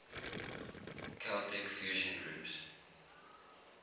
celtic fusion groups